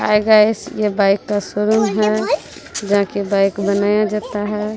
हाय guys यह bike का showroom है जहां पे बाइक बनाया जाता है।